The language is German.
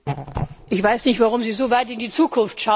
Ich weiß nicht, warum Sie so weit in die Zukunft schauen.